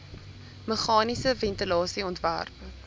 meganiese ventilasie ontwerp